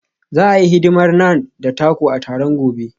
Za a yi hidimar Naan da taco a taron gobe.